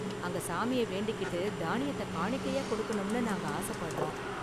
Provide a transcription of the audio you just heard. அங்க சாமிய வேண்டிக்கிட்டு தானியத்தை காணிக்கையா கொடுக்கணும்னு நாங்க ஆசப்படுறோம்.